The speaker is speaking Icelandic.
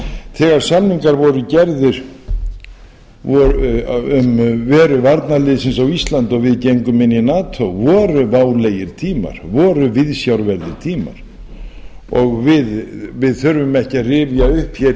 þegar samningar voru gerðir um veru varnarliðsins á íslandi og við gengum inn í nato voru válegir tímir voru viðsjárverðir tímar við þurfum ekki að rifja upp hér